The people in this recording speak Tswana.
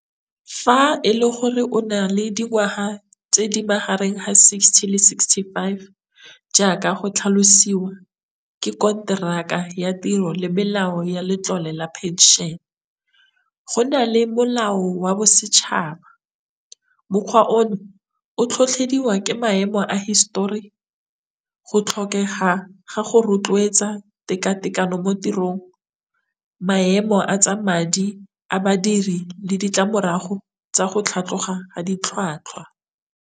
Fa e le gore o na le dingwaga tse di magareng ha sixty le sixty five jaaka go tlhalosiwa ke konteraka ya tiro le melao ya letlole la phenšene, go na le molao wa bosetšhaba mokgwa ono o tlhotlhediwa ke maemo a hisetori, go tlhokega ga go rotloetsa tekatekano mo tirong, maemo a tsa madi a badiri le ditlamorago tsa go tlhatlhoga ha ditlhwatlhwa.